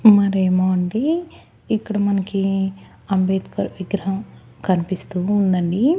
మరేమో అండి ఇక్కడ మనకి అంబేద్కర్ విగ్రహం కన్పిస్తూ ఉందండి.